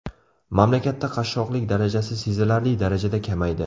Mamlakatdagi qashshoqlik darajasi sezilarli darajada kamaydi.